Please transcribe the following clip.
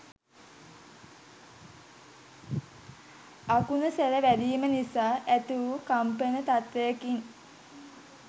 අකුණුසැර වැදීම නිසා ඇති වු කම්පන තත්ත්වයකින්